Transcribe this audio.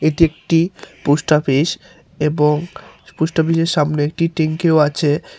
এটি একটি পোস্ট আপিস এবং পোস্ট অফিস -এর সামনি একটি ট্যাঙ্কি -ও আচে।